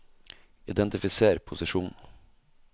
identifiser posisjon